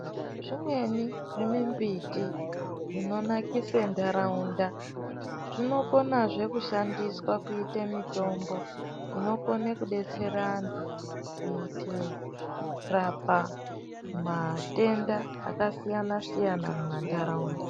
Zvimweni zvimimbiti Zvinonakisa nharaunda zvinokona zvekushandiswa kuitwa mitombo inodetsera antu kuita kurapa matenda akasiyana siyana mumandaraunda.